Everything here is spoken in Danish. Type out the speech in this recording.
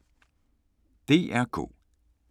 DR K